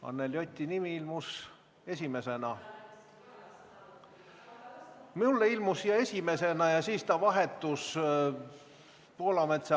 Anneli Oti nimi ilmus ekraanile esimesena – mulle ilmus esimesena – ja siis vahetus Poolametsaga.